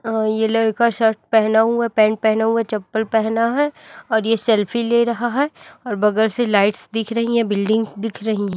अह ये लड़का शर्ट पहना हुआ है पैंट पहना हुआ है चप्पल पहना है और ये सेल्फी ले रहा है और बगल से लाइट्स दिख रही है बिल्डिंग्स दिख रही है।